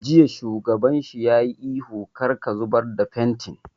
Jiya shugaban shi ya yi ihu 'Kar ka zubar da fentin'!